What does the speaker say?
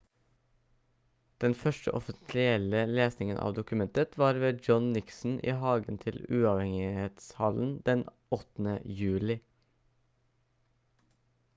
den første offentlige lesingen av dokumentet var ved john nixon i hagen til uavhengighetshallen den 8. juli